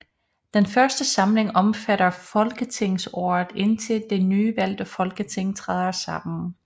Den først samling omfatter folketingsåret indtil det nyvalgte Folketing træder sammen